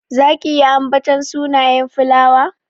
Zaki iya ambaton sunayen filawa?